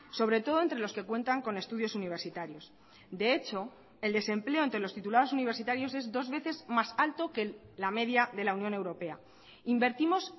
sobre todo entre los que cuentan con estudios universitarios de hecho el desempleo ante los titulados universitarios es dos veces más alto que la media de la unión europea invertimos